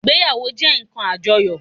Ìgbéyàwó jé nkan àjoyò